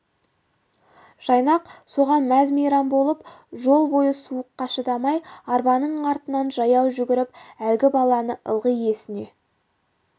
жайнақ соған мәз-мейрам болып жол бойы суыққа шыдамай арбаның артынан жаяу жүгіріп әлгі баланы ылғи есіне